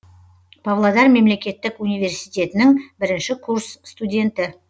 павлодар мемлекеттік университетінің бірінші курс студенті